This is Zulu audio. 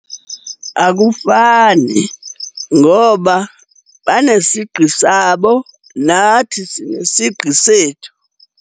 Akufani ngoba banesigqi sabo, nathi sinesigqi sethu.